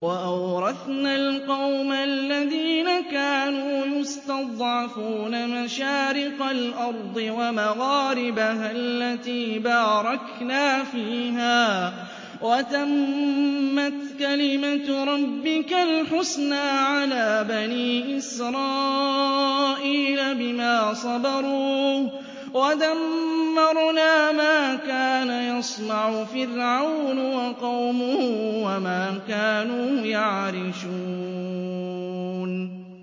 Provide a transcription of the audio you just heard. وَأَوْرَثْنَا الْقَوْمَ الَّذِينَ كَانُوا يُسْتَضْعَفُونَ مَشَارِقَ الْأَرْضِ وَمَغَارِبَهَا الَّتِي بَارَكْنَا فِيهَا ۖ وَتَمَّتْ كَلِمَتُ رَبِّكَ الْحُسْنَىٰ عَلَىٰ بَنِي إِسْرَائِيلَ بِمَا صَبَرُوا ۖ وَدَمَّرْنَا مَا كَانَ يَصْنَعُ فِرْعَوْنُ وَقَوْمُهُ وَمَا كَانُوا يَعْرِشُونَ